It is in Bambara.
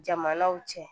Jamanaw cɛ